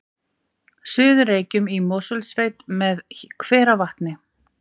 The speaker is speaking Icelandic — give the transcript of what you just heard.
Suður-Reykjum í Mosfellssveit með hveravatni